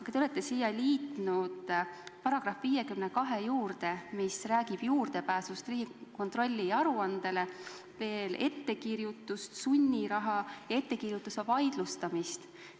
Aga te olete siia liitnud sätted, mis räägivad Riigikontrolli juurdepääsust aruannetele, ettekirjutustest, sunnirahast ja ettekirjutuste vaidlustamisest.